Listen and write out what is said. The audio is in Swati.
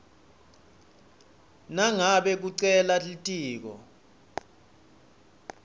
nangabe kucela litiko